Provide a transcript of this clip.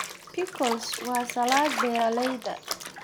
Pickles waa salad beeralayda.